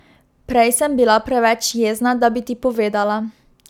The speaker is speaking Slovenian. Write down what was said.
Prej sem bila preveč jezna, da bi ti povedala.